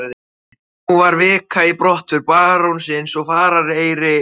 Nú var vika í brottför barónsins og farareyrir fenginn.